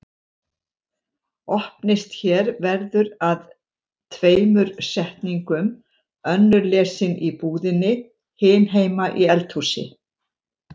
Opnist hér verður að tveimur setningum, önnur lesin í búðinni, hin heima í eldhúsi.